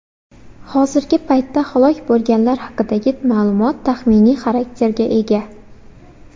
Hozirgi paytda halok bo‘lganlar haqidagi ma’lumot taxminiy xarakterga ega.